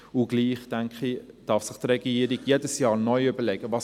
Und doch denke ich, dass sich die Regierung jedes Jahr neu überlegen sollte: